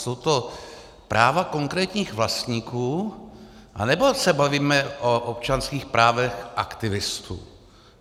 Jsou to práva konkrétních vlastníků, anebo se bavíme o občanských právech aktivistů?